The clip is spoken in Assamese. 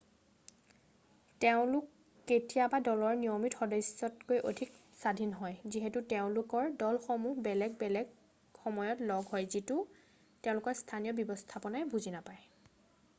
তেওঁলোক কেতিয়াবা দলৰ নিয়মিত সদস্যতকৈ অধিক স্বাধীন হয় যিহেতু তেওঁলোকৰ দলসমূহ বেলেগ বেলেগ সময়ত লগ হয় যিটো তেওঁলোকৰ স্থানীয় ব্যৱস্থাপনাই বুজি নাপায়